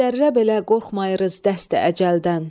Bir zərrə belə qorxmayırız dəsti əcəldən.